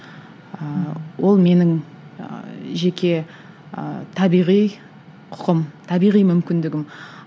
ыыы ол менің ы жеке ы табиғи құқым табиғи мүмкіндігім